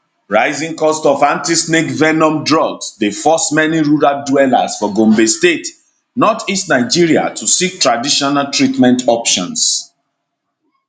rising costs of antisnake venom drugs dey force many rural dwellers for gombe state northeast nigeria to seek traditional treatment options